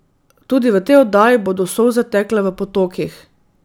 Tudi v tej oddaji bodo solze tekle v potokih.